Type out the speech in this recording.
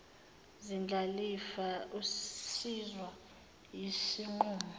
zindlalifa usizwa yisinqumo